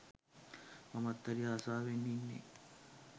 මමත් හරි ආසවෙන් ඉන්නේ